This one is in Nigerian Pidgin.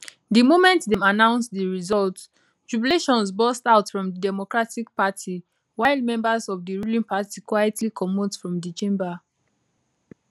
di moment dem announce di results jubilations burst out from di democratic party while members of di ruling party quietly comot from di chamber